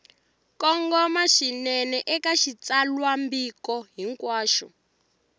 kongoma swinene eka xitsalwambiko hinkwaxo